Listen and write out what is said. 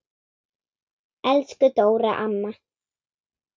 Elsku Dóra amma.